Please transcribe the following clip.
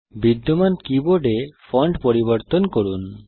বিদ্যমান কীবোর্ডে ফন্ট পরিবর্তন করুন